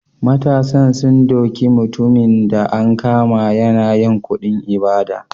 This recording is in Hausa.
Matasan sun duke mutumin da an kama yana yin kuɗin ibada.